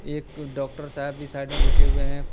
एक डॉक्टर साहब भी साइड में बैठे हुए हैं कु--